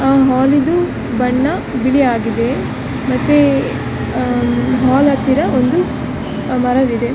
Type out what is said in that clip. ಆ ಮಾಲಿದು ಬಣ್ಣ ಬಿಳಿಯಾಗಿದೆ ಮತ್ತೆ ಮಾಲ್‌ ಹತ್ತಿರ ಒಂದು ಮರವಿದೆ .